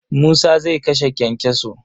Musa zai kashe kyankyaso.